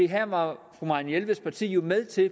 her var fru marianne jelveds parti jo med til